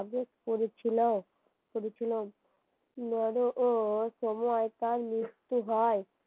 কাগজ পড়েছিলাম । নর সময় তার মৃত্যু হয়